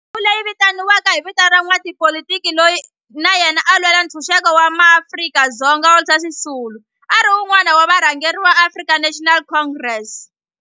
Ndhawo leyi yi vitaniwa hi vito ra n'watipolitiki loyi na yena a lwela ntshuxeko wa maAfrika-Dzonga Walter Sisulu, a ri wun'wana wa varhangeri va African National Congress.